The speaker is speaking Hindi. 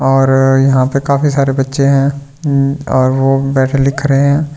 और यहां पे काफी सारे बच्‍चें हैं हूं और वो बैठे लिख रहे हैं का --